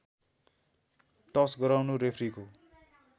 टस् गराउनु रेफ्रीको